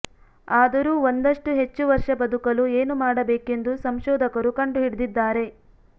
ಆದರೂ ಒಂದಷ್ಟು ಹೆಚ್ಚು ವರ್ಷ ಬದುಕಲು ಏನು ಮಾಡಬೇಕೆಂದು ಸಂಶೋಧಕರು ಕಂಡು ಹಿಡಿದಿದ್ದಾರೆ